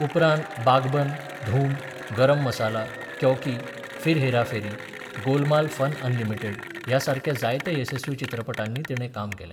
उपरांत Baghban, Dhoom, Garam Masala, Kyon Ki, Phir Hera Pheri, Golmaal Fun Unlimited ह्या सारक्या जायत्या येसस्वी चित्रपटांनी तिणें काम केलें.